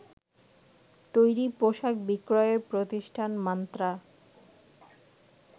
তৈরি পোশাক বিক্রয়ের প্রতিষ্ঠান মান্ত্রা